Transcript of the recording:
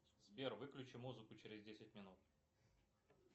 сбер выключи музыку через десять минут